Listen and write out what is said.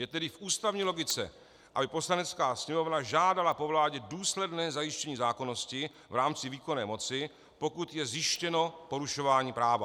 Je tedy v ústavní logice, aby Poslanecká sněmovna žádala po vládě důsledné zajištění zákonnosti v rámci výkonné moci, pokud je zjištěno porušování práva.